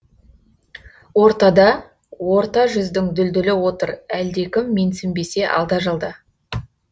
ортада орта жүздің дүлдүлі отыр әлде кім менсінбесе алда жалда